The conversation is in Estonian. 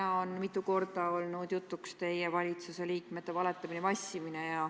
Täna on mitu korda olnud jutuks teie valitsuse liikmete valetamine ja vassimine.